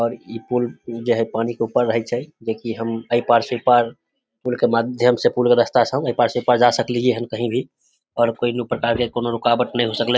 और इ पुल जे हेय पानी के ऊपर रहय छै जेकी हम एपार से उपार पूल के माध्यम से पूल के रास्ता से एपार से उपार जा सक लिए हेय कही भी और कोई भी प्रकार के कोनो रुकावट ने होय सकले ।